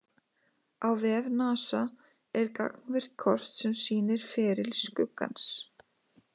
Á vef NASA er gagnvirkt kort sem sýnir feril skuggans.